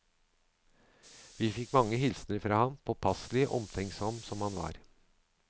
Vi fikk mange hilsener fra ham, påpasselig og omtenksom som han var.